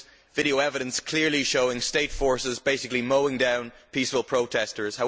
Video evidence clearly shows state forces basically mowing down peaceful protesters.